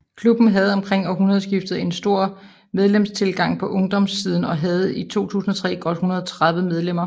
Klubben havde omkring årtusindeskiftet en stor medlemstilgang på ungdomssiden og havde i 2003 godt 130 medlemmer